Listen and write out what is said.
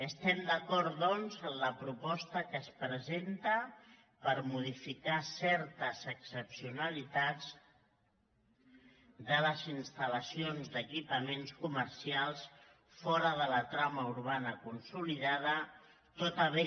estem d’acord doncs amb la proposta que es presen·ta per modificar certes excepcionalitats de les instal·lacions d’equipaments comercials fora de la trama urbana consolidada tot a bé